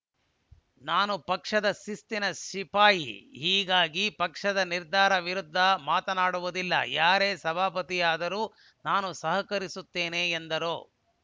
ನಾನು ಪಕ್ಷದ ಶಿಸ್ತಿನ ಸಿಪಾಯಿ ಹೀಗಾಗಿ ಪಕ್ಷದ ನಿರ್ಧಾರದ ವಿರುದ್ಧ ಮಾತನಾಡುವುದಿಲ್ಲ ಯಾರೇ ಸಭಾಪತಿ ಆದರೂ ನಾನು ಸಹಕರಿಸುತ್ತೇನೆ ಎಂದರು